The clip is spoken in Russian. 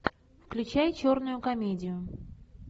включай черную комедию